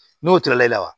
N'o tora e la wa